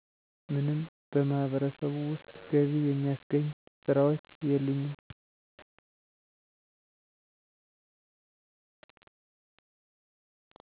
ምንም በማህበረሰቡ ውስጥ ገቢ የሚያስገኝ ስራዎች የሉኝም